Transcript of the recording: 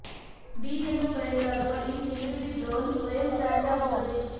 ಬೀ ಎಂದು ಕರೆಯಲಾಗುವ ಈ ಸೆಕ್ಯುರಿಟಿ ಡ್ರೋನ್ ಸ್ವಯಂ ಚಾರ್ಜ್ ಆಗುತ್ತದೆ